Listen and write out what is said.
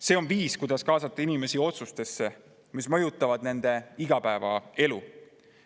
See on viis, kuidas kaasata inimesi otsustesse, mis mõjutavad nende igapäevaelu.